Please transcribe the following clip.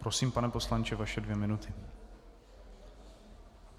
Prosím, pane poslanče, vaše dvě minuty.